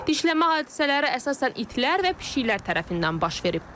Dişləmə hadisələri əsasən itlər və pişiklər tərəfindən baş verib.